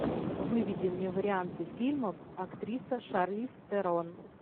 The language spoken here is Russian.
выведи мне варианты фильмов актриса шарлиз терон